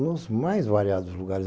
nos mais variados lugares.